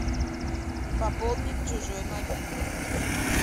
пополнить чужой мобильный